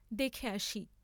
দেখে আসি।